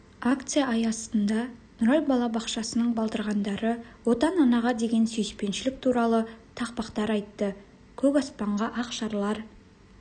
акция аясында нұрай балабақшасының балдырғандары отан анаға деген сүйіспеншілік туралы тақпақтар айтты көк аспанға ақ шарлар